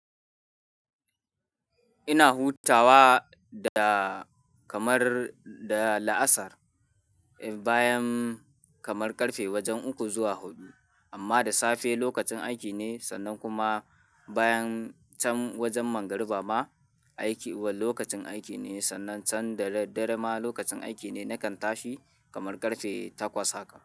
Ina hutawa da kamar da la'asar, bayan kamar ƙarfe wajen uku zuwa huɗu, amma da safe lokacin aiki ne sannan kuma bayan can wajen magarba ma aiki, lokacin aiki ne, sannan can dare dare ma lokacin aiki ne. Nakan tashi kamar ƙarfe takwas haka.